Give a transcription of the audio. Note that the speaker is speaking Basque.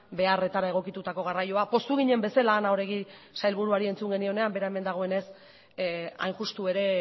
beharretara egokitutako garraioa poztu ginen bezala ana oregi sailburuari entzun genionean bera hemen dagoenez hain justu ere